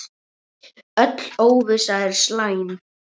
Öll óvissa er slæm.